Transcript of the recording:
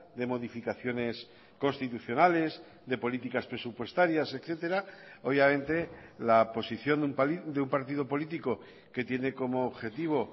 de modificaciones constitucionales de políticas presupuestarias etcétera obviamente la posición de un partido político que tiene como objetivo